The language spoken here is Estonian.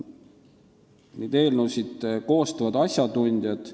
Neid eelnõusid koostavad asjatundjad.